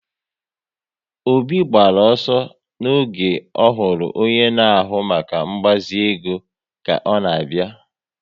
Obi gbara ọsọ oge ọhụrụ onye na ahụ maka ngbazi ego ka ọ na abịa